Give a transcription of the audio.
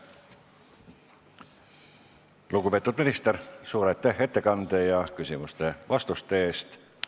Lugupeetud minister, suur aitäh ettekande ja küsimustele vastamise eest!